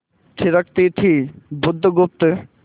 थिरकती थी बुधगुप्त